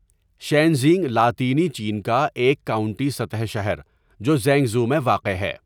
شینژینگ لاطینی چین کا ایک کاؤنٹی سطح شہر جو ژینگژو میں واقع ہے.